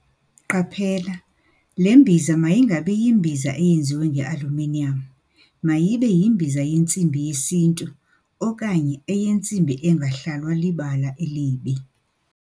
Qaphela - Le mbiza mayingabi yimbiza eyenziwe ngealuminiyam - mayibe yimbiza yentsimbi yesiNtu okanye eyentsimbi engahlalwa libala elibi.